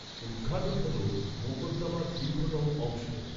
উদ্ঘাটন হল মোকদ্দমার দীর্ঘতম অংশ।